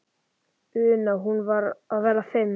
una, hún var að verða fimm.